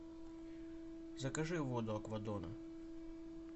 закажи воду аква дон